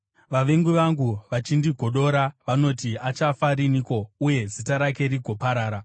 Vavengi vangu vachindigodora vanoti, “Achafa riniko uye zita rake rigoparara?”